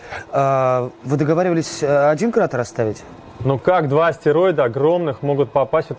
аа вы договаривались один карат расставить ну как два астероида огромных могут попасть в